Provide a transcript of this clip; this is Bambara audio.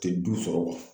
Tɛ du sɔrɔ